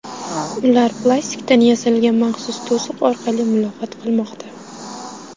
Ular plastikdan yasalgan maxsus to‘siq orqali muloqot qilmoqda.